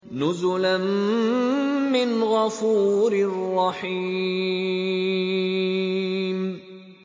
نُزُلًا مِّنْ غَفُورٍ رَّحِيمٍ